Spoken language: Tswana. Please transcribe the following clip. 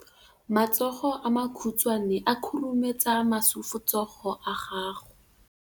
matsogo a makhutshwane a khurumetsa masufutsogo a gago